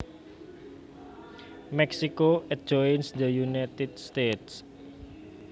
Mexico adjoins the United States